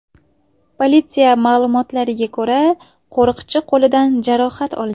Politsiya ma’lumotlariga ko‘ra, qo‘riqchi qo‘lidan jarohat olgan.